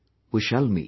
We shall meet